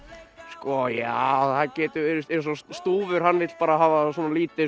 sko já það getur verið eins og stúfur hann vill bara hafa svona lítið